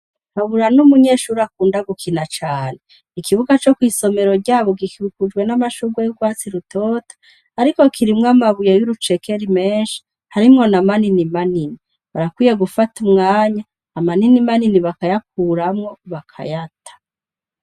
Kabura n'umunyeshuri akunda gukina cane ikibuga co kwisomero ryabo gikirukujwe n'amashurwe y'ugwatsi rutota ariko kirimwe amabuye y'urucekeri menshi harimwo na manini manini barakwiye gufata umwanya amanini manini bakayakuramwo bakayata